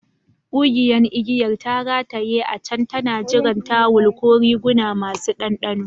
Kugiyan igiyar ta rataye a can tana jiran tawul ko riguna masu ɗanɗano.